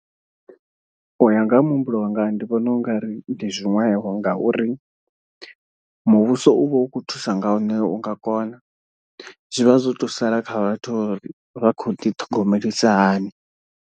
U ya nga ha muhumbulo wanga ndi vhona u nga ri ndi zwiṅwevho ngauri muvhuso uvha u kho thusa nga hune unga kona, zwivha zwo to sala kha vhathu uri vha khou ḓi ṱhogomelisa hani.